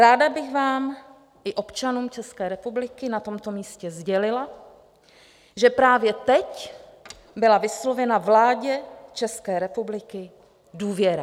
Ráda bych vám i občanům České republiky na tomto místě sdělila, že právě teď byla vyslovena vládě České republiky důvěra.